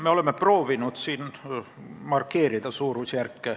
Me oleme siin proovinud suurusjärke markeerida.